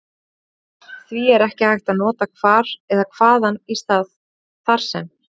Því er ekki hægt að nota hvar eða hvaðan í stað þar sem.